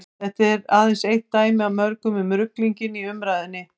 þetta er aðeins eitt dæmi af mörgum um ruglinginn í umræðunni